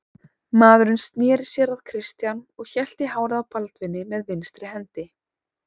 Maðurinn sneri sér að Christian og hélt í hárið á Baldvini með vinstri hendi.